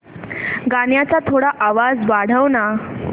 गाण्याचा थोडा आवाज वाढव ना